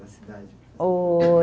Na cidade. Ô